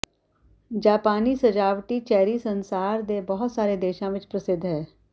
ਜਾਪਾਨੀ ਸਜਾਵਟੀ ਚੈਰੀ ਸੰਸਾਰ ਦੇ ਬਹੁਤ ਸਾਰੇ ਦੇਸ਼ਾਂ ਵਿਚ ਪ੍ਰਸਿੱਧ ਹੈ